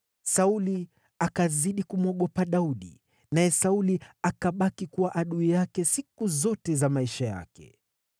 Sauli akazidi kumwogopa Daudi, naye Sauli akabaki kuwa adui yake siku zote za maisha yake.